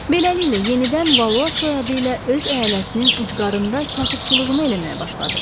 Beləliklə, yenidən Valua soyadı ilə öz əyalətinin ucqarında kasıbçılığını eləməyə başladı.